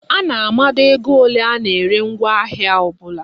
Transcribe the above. A na-amado ego ole a na-ere ngwaahịa ọbụla.